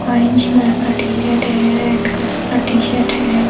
Orange colour का T shirt है red colour का टी शर्ट है।